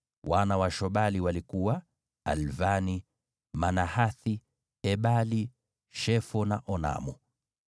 Wana wa Shobali walikuwa: Alvani, Manahathi, Ebali, Shefo na Onamu.